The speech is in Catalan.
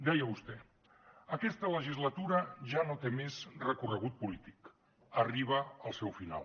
deia vostè aquesta legislatura ja no té més recorregut polític arriba al seu final